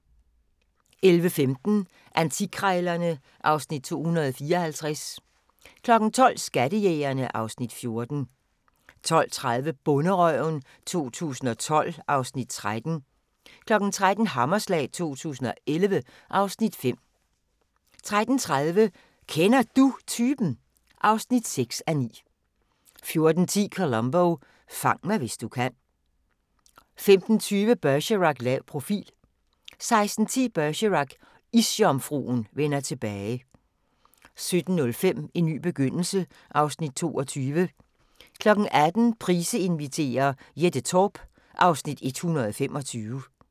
11:15: Antikkrejlerne (Afs. 254) 12:00: Skattejægerne (Afs. 14) 12:30: Bonderøven 2012 (Afs. 13) 13:00: Hammerslag 2011 (Afs. 5) 13:30: Kender Du Typen? (6:9) 14:10: Columbo: Fang mig hvis du kan 15:20: Bergerac: Lav profil 16:10: Bergerac: Isjomfruen vender tilbage 17:05: En ny begyndelse (Afs. 22) 18:00: Price inviterer - Jette Torp (Afs. 125)